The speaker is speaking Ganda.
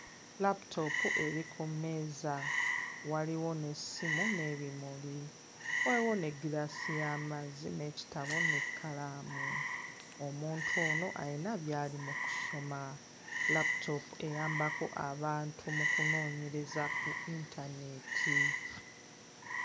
Laputoopu eri ku mmeeza waliwo n'essimu n'ebimuli waliwo n'eggiraasi y'amazzi n'ekitabo n'ekkalaamu, omuntu ono ayina by'ali mu kusoma. Laputoopu eyambako abantu mu kunoonyereza ku internet.